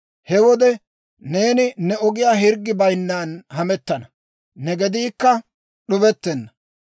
He wode neeni ne ogiyaan hirggi bayinnan hamettana; ne gediikka d'ubettenna.